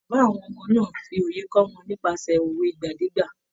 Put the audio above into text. Bàbá àwọn ọmọ náà ń fi òye kọ́ wọn nípasẹ̀ òwe ìgbàdégbà.